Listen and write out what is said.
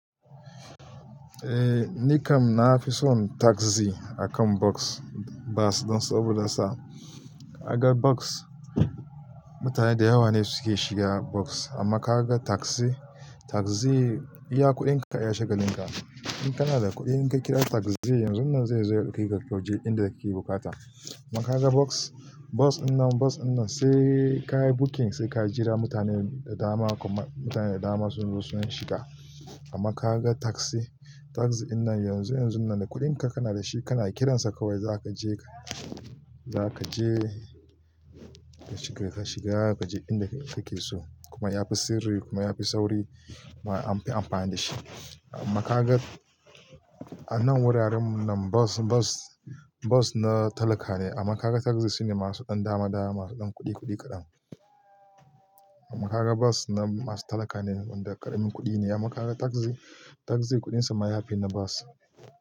Eh ni kam nafi son taxi akan bus bus don saboda sa kaga bus, mutane da yawa ne suke shiga bus. Amma ka ga taxi, taxi iya kuɗinka iya shiga linka. In kana da kuɗi in ka kira taxi yanzun nan zai zo ya ɗauke ka kaje inda kake bukata. Amma ka ga bus, bus dinnan bus dinnan sai ka yi booking sai ka jira mutanen da dama kuma mutane da dama sun zo sun shiga. Amma ka ga taxi, taxi dinnan yanzu yanzun nan da kuɗinka kana da shi kana kiransa kawai za ka je ka, za ka je ka shiga ka je inda kake so. Kuma ya fi sirri kuma ya fi sauri an fi amfani da shi. Amma ka ga a nan wuraren mun nan bus bus bus na talaka ne amma ka ga taxi sune masu ɗan dama dama masu ɗan kuɗi kuɗi kaɗan. Amma ka ga bus na masu talaka ne wanda ƙaramin kuɗi ne amma ka ga taxi taxi kuɗinsa ma yafi na bus.